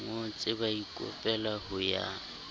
ngotse ba ikopela ho ya